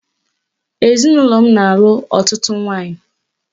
Ezinụlọ m na-alụ ọtụtụ nwaanyị